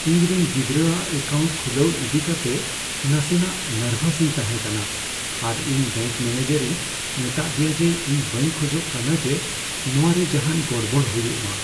ᱤᱧ ᱨᱮᱱ ᱜᱤᱫᱽᱨᱟᱹᱼᱟᱜ ᱮᱠᱟᱣᱩᱱᱴ ᱠᱷᱩᱞᱟᱹᱣ ᱤᱫᱤ ᱠᱟᱛᱮᱜ ᱱᱟᱥᱮ ᱱᱟᱜ ᱱᱟᱨᱵᱷᱟᱥ ᱤᱧ ᱛᱟᱦᱮᱸ ᱠᱟᱱᱟ ᱟᱨ ᱤᱧ ᱵᱮᱝᱠ ᱢᱮᱱᱮᱡᱟᱨᱤᱧ ᱢᱮᱛᱟᱫᱮᱭᱟ ᱡᱮ ᱤᱧ ᱵᱟᱹᱧ ᱠᱷᱚᱡᱚᱜ ᱠᱟᱱᱟ ᱡᱮ ᱱᱚᱣᱟᱨᱮ ᱡᱟᱦᱟᱱ ᱜᱚᱲᱵᱚᱲ ᱦᱩᱭᱩᱜᱼᱢᱟ ᱾